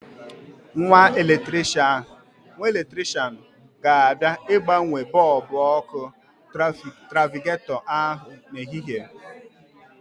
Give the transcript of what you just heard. Nwa eletrishian ga-abịa ịgbanwe bọbụ ọ́kụ́ trafiketọ ahụ n'ehihie.